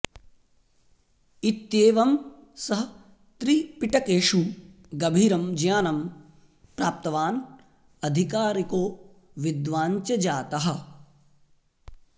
इत्येवं सः त्रिपिटकेषु गभीरं ज्ञानं प्राप्तवान् अधिकारिको विद्वान् च जातः